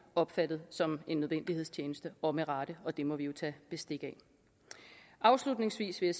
opfattet som en nødvendighedstjeneste og med rette og det må vi tage bestik af afslutningsvis vil